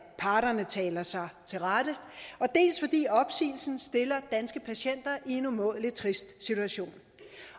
parterne taler sig til rette dels fordi opsigelsen stiller danske patienter i en umådelig trist situation